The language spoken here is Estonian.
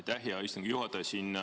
Aitäh, hea istungi juhataja!